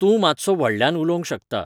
तूंं मातसो व्हडल्यान उलोवंक शकता